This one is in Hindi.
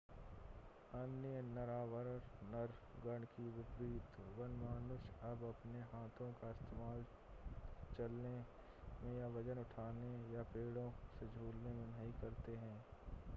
अन्य नरवानर गण के विपरीत वनमानुष अब अपने हाथों का इस्तेमाल चलने में या वज़न उठाने या पेड़ों से झूलने में नहीं करते हैं